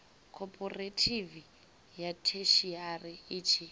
khophorethivi ya theshiari i tshi